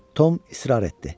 Tom israr etdi.